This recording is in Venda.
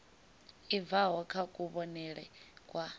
i bvaho kha kuvhonele kwa